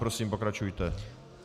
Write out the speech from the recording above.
Prosím, pokračujte.